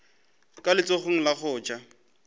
ka letsogong la go ja